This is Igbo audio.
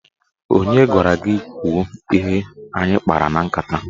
Onye gwara gị kwuo ihe anyị kpara na nkata?